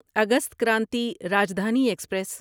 August Kranti Rajdhani express